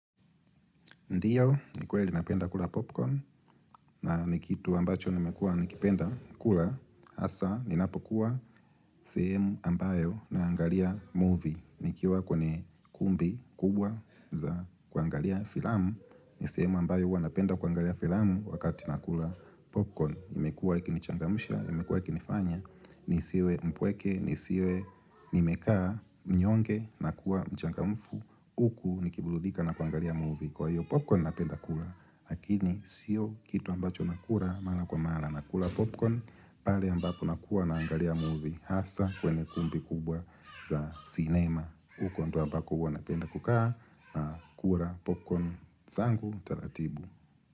Ndiyo, ni kweli napenda kula popcorn, ni kitu ambacho nimekua nikipenda kula, hasa, ninapokuwa sehemu ambayo naangalia movie. Nikiwa kwenye kumbi kubwa za kuangalia filamu, ni sehemu ambayo huwa napenda kuangalia filamu wakati nakula popcorn. Imekua ikinichangamusha, imekua ikinifanya, nisiwe mpweke, nisiwe nimekaa, mnyonge, na kua mchangamfu, uku nikibuludika na kuangalia movie. Kwa hiyo popcorn napenda kula Lakini sio kitu ambacho nakura Mala kwa mala nakula popcorn pale ambapo nakuwa naangalia movie Hasa kwene kumbi kubwa za cinema huko ndio ambako huwa napenda kukaa na kura popcorn zangu talatibu.